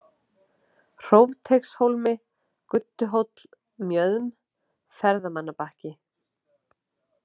Hrófteigshólmi, Gudduhóll, Mjöðm, Ferðamannabakki